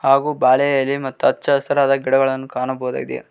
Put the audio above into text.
ಹಾಗು ಬಾಳೆ ಎಲೆ ಮತ್ತು ಹಚ್ಚಹಸಿರಾದ ಗಿಡಗಳನ್ನು ಕಾಣಬಹುದಾಗಿದೆ.